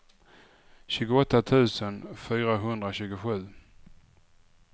tjugoåtta tusen fyrahundratjugosju